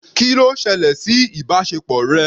Kí ló ṣẹlẹ̀ sí ìbáṣepọ̀ rẹ?